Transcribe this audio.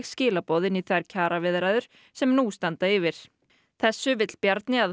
skilaboð inn í þær kjaraviðræður sem nú standa yfir þessu vill Bjarni að